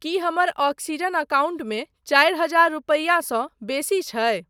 की हमर ऑक्सीजन एकाउण्टमे चारि हजार रूपैआसँ बेसी छै?